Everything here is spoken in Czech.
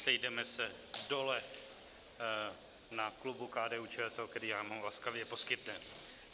Sejdeme se dole na klubu KDU-ČSL, který nám ho laskavě poskytne.